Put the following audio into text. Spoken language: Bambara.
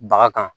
Baga kan